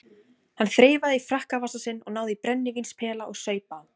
Hann þreifaði í frakkavasa sinn, náði í brennivínspela og saup á.